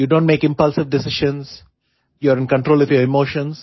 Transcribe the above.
you donट make impulsive decisions you are in control of your emotions